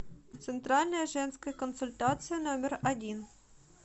центральная женская консультация номер один